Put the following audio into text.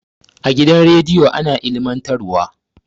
A gidan radiyo ana ilmantar wa